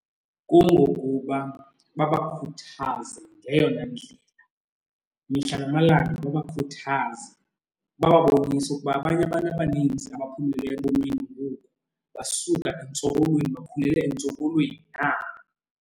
Kungokuba babakhuthaze ngeyona ndlela, mihla namalanga babakhuthaze bababonise ukuba abanye abantu abaninzi abaphumeleleyo ebomini ngoku basuka entsokolweni bakhulele entsokolweni nabo.